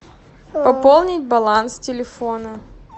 пополнить баланс телефона